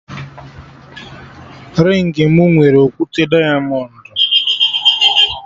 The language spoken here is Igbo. Ringị mụ nwere okwute diamọndụ